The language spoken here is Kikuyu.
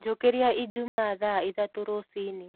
Njũkĩrĩa ĩjũmaa thaa ĩthatũ rũcĩĩni